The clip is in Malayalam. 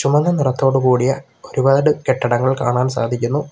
മഞ്ഞ നിറത്തോട് കൂടിയ ഒരുപാട് കെട്ടിടങ്ങൾ കാണാൻ സാധിക്കുന്നു.